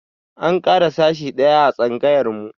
An ƙara sashi ɗaya a tsangayarmu.